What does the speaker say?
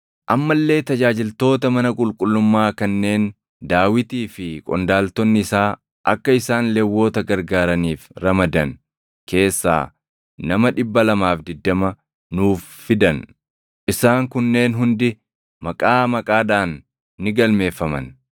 Amma illee tajaajiltoota mana qulqullummaa kanneen Daawitii fi qondaaltonni isaa akka isaan Lewwota gargaaraniif ramadan keessaa nama 220 nuuf fidan. Isaan kunneen hundi maqaa maqaadhaan ni galmeeffaman.